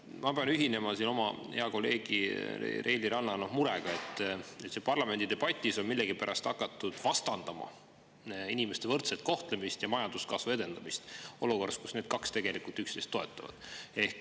Ma pean ühinema oma hea kolleegi Reili Ranna murega, et parlamendi debatis on millegipärast hakatud vastandama inimeste võrdset kohtlemist ja majanduskasvu edendamist – seda olukorras, kus need kaks tegelikult teineteist toetavad.